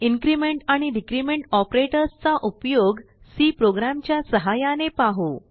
increment आणि decrement operators चा उपयोग सी प्रोग्राम च्या सहाय्याने पाहू